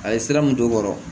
A ye sira mun don o kɔrɔ